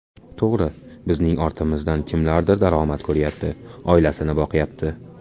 To‘g‘ri, bizning ortimizdan kimlardir daromad ko‘ryapti, oilasini boqyapti.